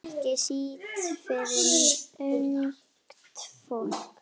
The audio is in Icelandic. Ekki síst fyrir ungt fólk.